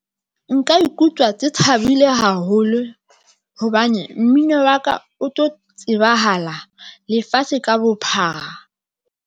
Nka ikutlwa ke thabile haholo hobane mmino wa ka o tlo tsebahala lefatshe ka bophara.